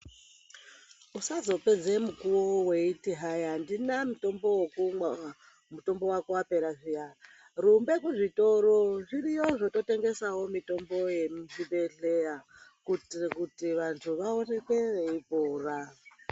Usazopedza mukuwo weiti hayi handina mutombo wokumwa, mutombo wako wapera zviyana. Rumba kuzvitoro zviriyo zvototengesawo mitombo yemuchibhedhlera kuitira kuti vantu vaoneke veipora.